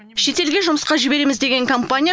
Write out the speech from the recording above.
шетелге жұмысқа жібереміз деген компания